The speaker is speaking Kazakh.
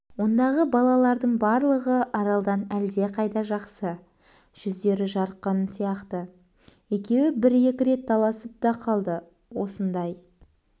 ондағы балалардың барлығы аралдан әлдеқайда жақсы жүздері жарқын сияқты екеуі бір-екі рет таласып та қалды осындай